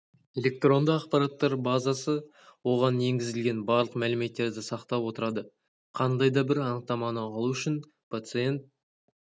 электронды ақпараттар базасы оған енгізілген барлық мәліметтерді сақтап отырады қандай да бір анықтаманы алу үшін пациент